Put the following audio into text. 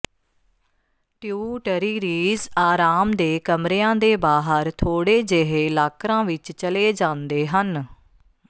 ਟਿਊਟਰੀਰੀਜ਼ ਆਰਾਮ ਦੇ ਕਮਰਿਆਂ ਦੇ ਬਾਹਰ ਥੋੜ੍ਹੇ ਜਿਹੇ ਲਾਕਰਾਂ ਵਿਚ ਚਲੇ ਜਾਂਦੇ ਹਨ